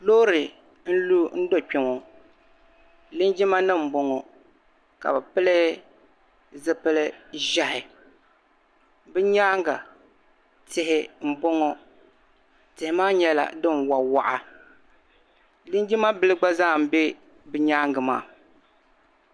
Loori n-lu n-do kpe ŋɔ lingimanima m-bɔŋɔ ka bɛ pili zipil'Ʒihi bɛ nyaaŋa tihi m-bɔŋɔ tihi maa nyɛla din waɣa waɣa lingima bila gba zaa m-be bɛ nyaaŋa maa